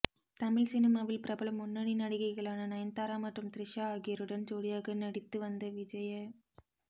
தமிழ் சினிமாவில் பிரபல முன்னணி நடிகைகளான நயன்தாரா மற்றும் த்ரிஷா ஆகியோருடன் ஜோடியாக நடித்து வந்த விஜ